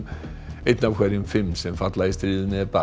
einn af hverjum fimm sem falla í stríðinu er barn